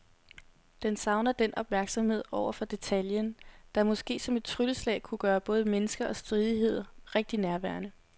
Den savner den opmærksomhed over for detaljen, der måske som et trylleslag kunne gøre både mennesker og stridigheder rigtig nærværende.